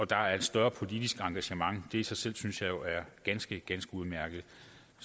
der er et større politisk engagement det i sig selv synes jeg jo er ganske ganske udmærket